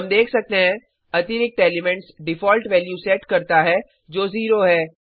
हम देख सकते हैं अतिरिक्त एलिमेंट्स डिफॉल्ट वैल्यू सेट करता है जो 0 है